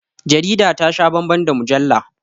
Jarida ta sha bambam da mujalla